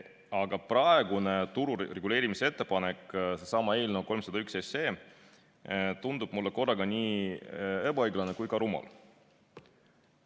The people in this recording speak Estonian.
Aga praegune turu reguleerimise ettepanek, seesama eelnõu 301, tundub mulle korraga nii ebaõiglane kui ka rumal.